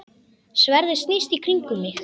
Sverðið snýst í kringum mig.